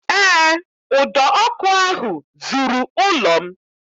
Eé, ụdọ ọkụ ahụ zuru ụlọ m